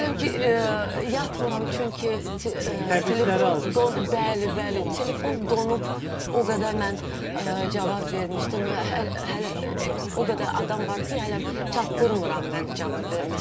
Hələm ki yatmıram, çünki telefon, bəli, bəli, telefon donub, o qədər mən cavab vermişdim, hələ o qədər adam var ki, hələm çatdırmıram mən cavab verməyə.